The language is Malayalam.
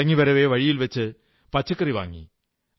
മടങ്ങവേ വഴിയിൽ വച്ച് പച്ചക്കറി വാങ്ങി